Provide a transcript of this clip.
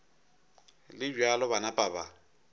le bjalo ba napa ba